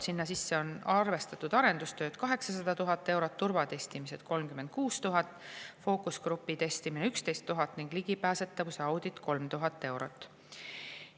Sinna sisse on arvestatud arendustööd – 800 000 eurot; turvatestimine – 36 000 eurot; fookusgrupi testimine – 11 000 eurot; ligipääsetavuse audit – 3000 eurot.